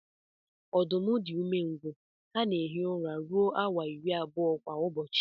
Ọdụm di umengwụ ha na ehi ụra rụọ awa iri abụọ kwa ụbọchi.